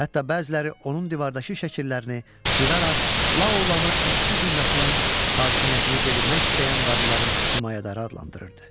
Hətta bəziləri onun divardakı şəkillərini cıraraq La Olanı işçi zümrəsinin hakimiyyətini devirmək istəyən varlıların himayədarı adlandırırdı.